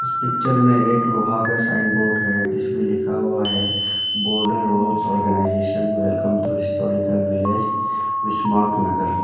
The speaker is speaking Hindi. इस पिक्चर में एक लोहा का साइन बोर्ड है जिसमें लिखा हुआ है border roads organisation welcome to historical village Bismarck Nagar.